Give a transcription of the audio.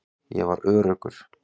Ég var öruggur.